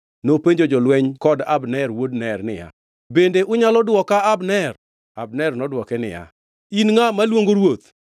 Daudi nopenjo Abner niya, “Donge in ngʼama dichwo? To ere ngʼama chal kodi e Israel? Angʼo momiyo ne ok irito ruodhi ma en ruoth? Ngʼato nobiro mondo oneg ruodhi ma ruoth.